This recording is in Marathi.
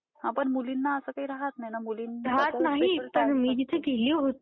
हं.. म्हणजे प्रायवेट म्हण की गवर्नमेंट म्हण सारखंच आहे